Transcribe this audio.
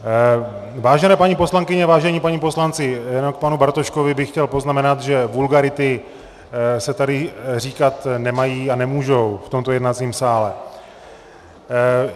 Vážené paní poslankyně, vážení páni poslanci, jenom k panu Bartoškovi bych chtěl poznamenat, že vulgarity se tady říkat nemají a nemůžou v tomto jednacím sále.